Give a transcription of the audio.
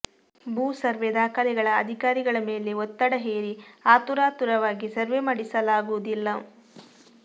ಭೂ ಸರ್ವೆ ದಾಖಲೆಗಳ ಅಧಿಕಾರಿಗಳ ಮೇಲೆ ಒತ್ತಡ ಹೇರಿ ಆತುರಾತುರವಾಗಿ ಸರ್ವೆ ಮಾಡಿಸಲಾಗುವುದಿಲ್ಲ